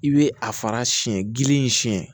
I bɛ a fara siyɛn gili in siɲɛ